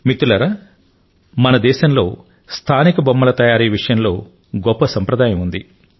మిత్రులారా మన దేశంలో స్థానిక బొమ్మల తయారీ విషయంలో గొప్ప సంప్రదాయం ఉంది